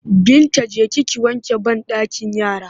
Binta je ki ki wanke banɗakin yara!